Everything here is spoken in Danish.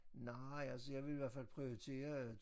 Nej altså jeg ville i hvert fald prioritere